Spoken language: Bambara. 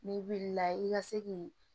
N'i wulila i ka se k'i